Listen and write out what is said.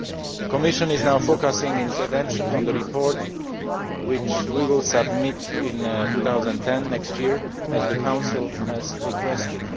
The Commission is now focussing its attention on the report which it will submit in 2010 next year as the Council has requested.